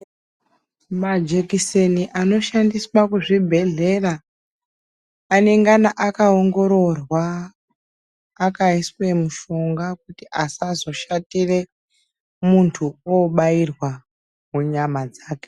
Majekiseni anoshandiswa kuzvibhedhlera, anengana akaongororwa ,akaiswe mushonga kuti asazoshatire, muntu obairwa munyama dzake.